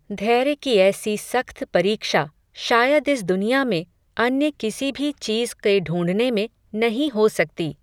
धैर्य की ऐसी सख्त परीक्षा, शायद इस दुनिया में, अन्य किसी भी चीज़ क़े ढूंढने में, नहीं हो सकती